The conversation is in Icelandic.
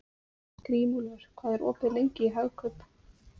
Grímúlfur, hvað er opið lengi í Hagkaup?